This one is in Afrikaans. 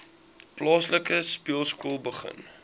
plaaslike speelskool begin